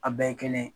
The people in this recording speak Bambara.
A bɛɛ ye kelen